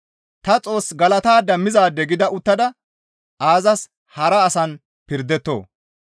Ta Xoos galatada mizaade gida uttada aazas hara asan pirdettoo?